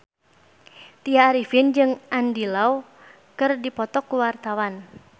Tya Arifin jeung Andy Lau keur dipoto ku wartawan